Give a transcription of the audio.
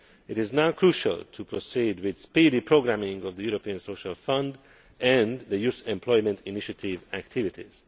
It is now crucial to proceed with speedy programming of the European Social Fund and Youth Employment Initiative activities.